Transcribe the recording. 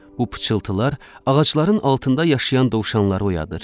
Bu pıçıltılar ağacların altında yaşayan dovşanları oyadır.